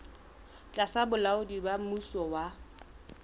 tlasa bolaodi ba mmuso wa